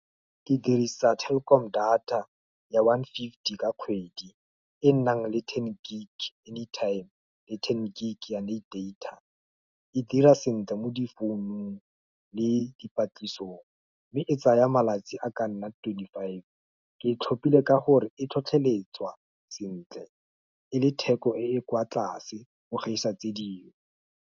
Ke dirisa Telkom data ya one fifty ka kgwedi, e nnang le ten gig any time le ten gig ya late data. E dira sentle mo di founung le dipatlisisong mme e tsaya malatsi a ka nna twenty-five. Ke e tlhopile ka gore e tlhotlheletswa sentle, e le theko e kwa tlase go gaisa tse dingwe.